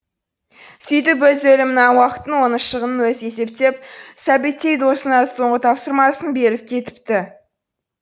сөйтіп өз өлімінің уақытын оның шығынын өзі есептеп сәбеттей досына соңғы тапсырмасын беріп кетіпті